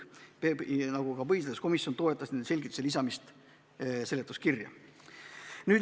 Ka põhiseaduskomisjon toetas nende selgituste lisamist seletuskirja.